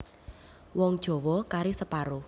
Wong Jawa kari separo